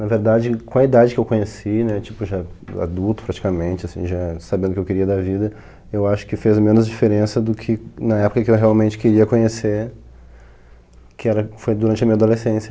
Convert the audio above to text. Na verdade, com a idade que eu conheci, né tipo já adulto praticamente, assim já sabendo o que eu queria da vida, eu acho que fez menos diferença do que na época que eu realmente queria conhecer, que era, foi durante a minha adolescência.